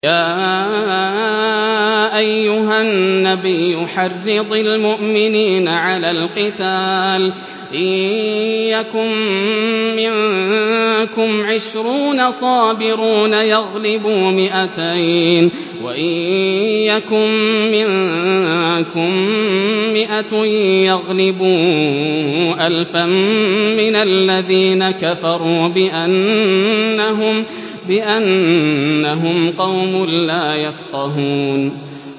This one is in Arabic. يَا أَيُّهَا النَّبِيُّ حَرِّضِ الْمُؤْمِنِينَ عَلَى الْقِتَالِ ۚ إِن يَكُن مِّنكُمْ عِشْرُونَ صَابِرُونَ يَغْلِبُوا مِائَتَيْنِ ۚ وَإِن يَكُن مِّنكُم مِّائَةٌ يَغْلِبُوا أَلْفًا مِّنَ الَّذِينَ كَفَرُوا بِأَنَّهُمْ قَوْمٌ لَّا يَفْقَهُونَ